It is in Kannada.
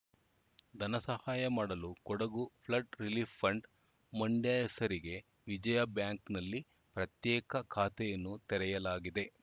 ಧನಸಹಾಯ ಮಾಡಲು Kodagu flood relief fund Mandya ಹೆಸರಿಗೆ ವಿಜಯ ಬ್ಯಾಂಕ್‌ನಲ್ಲಿ ಪ್ರತ್ಯೇಕ ಖಾತೆಯನ್ನು ತೆರೆಯಲಾಗಿದೆ